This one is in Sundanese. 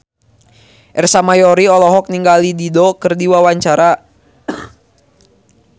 Ersa Mayori olohok ningali Dido keur diwawancara